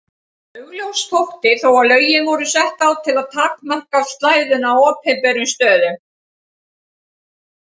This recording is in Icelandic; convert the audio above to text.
Augljóst þótti þó að lögin voru sett á til að takmarka slæðuna á opinberum stöðum.